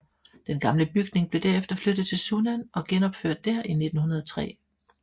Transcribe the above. Den gamle bygning blev derefter flyttet til Sunnan og genopført der i 1905